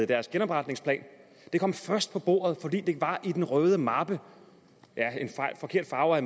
deres genopretningsplan det kom først på bordet fordi det var i den røde mappe en forkert farve at